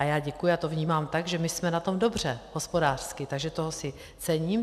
A já děkuji a to vnímám tak, že my jsme na tom dobře hospodářsky, takže toho si cením.